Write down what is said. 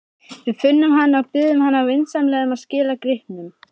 Við finnum hana og biðjum hana vinsamlega að skila gripnum.